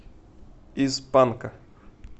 из панка